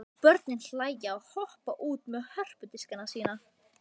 Og börnin hlæja og hoppa út með hörpudiskana sína.